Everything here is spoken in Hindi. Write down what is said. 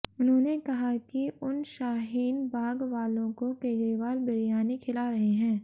उन्होंने कहा कि उन शाहीन बाग वालों को केजरीवाल बिरयानी खिला रहे हैं